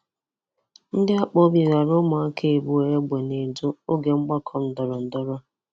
Ndị akpụ obi ghara ụmụaka abụọ egbe n'Edo oge ọgbakọ ndọrọndọrọ